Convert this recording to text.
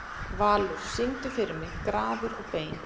Valur, syngdu fyrir mig „Grafir og bein“.